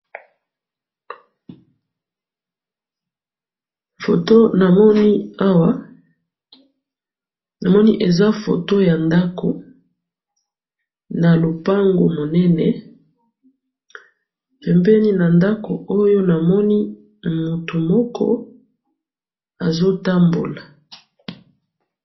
photo namoni awa namoni photo eza ya ndaku na lopangu munene pembeni na ndaku oyo namoni mutu moko azo tamboula.